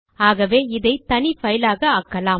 ஆகவே இதை தனி பைல் ஆக ஆக்கலாம்